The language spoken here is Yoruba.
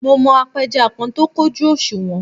Mo mọ apẹja kan tó kójú òṣùwọ̀n